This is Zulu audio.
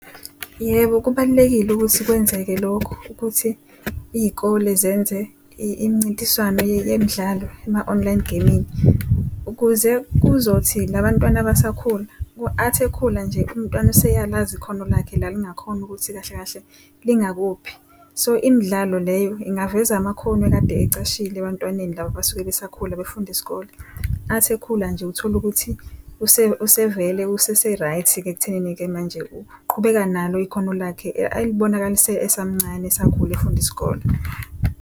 Yebo, kubalulekile ukuthi kwenzeke lokhu ukuthi iy'kole zenze imincintiswano yemidlalo ema-online gaming. Ukuze kuzothi la bantwana abasakhula athi ekhula nje umntwana useyalazi ikhono lakhe la lingakhona ukuthi kahle kahle lingakuphi. So imidlalo leyo ingaveza amakhono ekade ecashile ebantwaneni laba abasuke besakhula befunda isikole. Athi ekhula nje utholukuthi usevele usese right-ke ekuthenini-ke manje uqhubeka nalo ikhono lakhe elibonakalise esamncane esakhula efunda isikole.